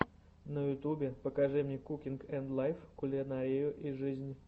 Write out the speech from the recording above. на ютубе покажи мне кукинг энд лайф кулинарию и жизнь